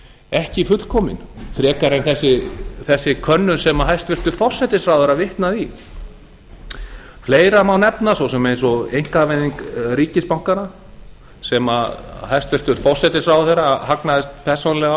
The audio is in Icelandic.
ekki fullkominn frekar en þessi könnun sem hæstvirtur forsætisráðherra vitnaði í fleira má nefna svo sem eins og einkavæðing ríkisbankanna sem hæstvirtur forsætisráðherra hagnaðist persónulega